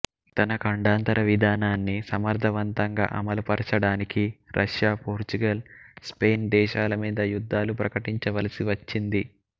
తన ఖండాంతర విధానాన్ని సమర్ధవంతంగా అమలుపరచడానికి రష్యాపోర్చుగల్ స్పెయిన్ దేశాలమీద యుద్ధాలు ప్రకటించవలసి వచ్చింది